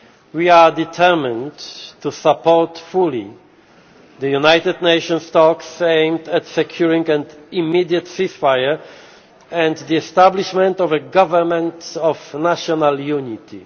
We are determined to support fully the United Nations talks aimed at securing an immediate ceasefire and the establishment of a government of national unity.